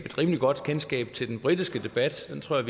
et rimelig godt kendskab til den britiske debat den tror